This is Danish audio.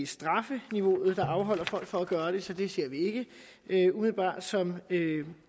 straffeniveauet der afholder folk fra at gøre det så det ser vi ikke umiddelbart som